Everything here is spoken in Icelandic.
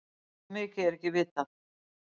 Hve mikið er ekki vitað.